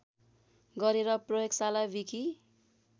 गरेर प्रयोगशाला विकि